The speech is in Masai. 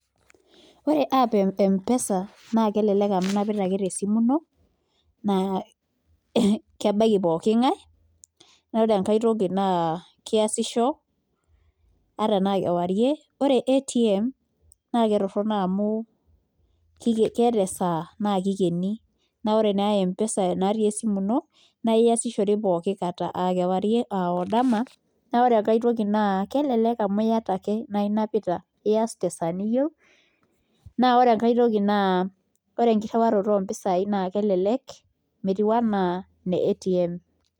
Wore app ee Mpesa naa kelelek amu inapita ake tesimu ino, naa kebaiki pookingae, naa wore enkae toki naa keasisho ata enaa kewarie. Wore ATM naa ketorono amu kiken keata esaa naa kikeni. Naa wore naa Mpesa naati esimu ino, naa iasishore pookin kata, aa kewarie aa odama. Naa wore aitoki naa kelelek amu iata ake naa inapita, ias tesaa niyieu. Naa wore enkae toki naa wore enkirruaroto oompisai naa kelelek metiu enaa ine ATM.